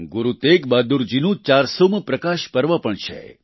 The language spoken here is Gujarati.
ગુરુ તેગબહાદુર જીનું 400મું પ્રકાશ પર્વ પણ છે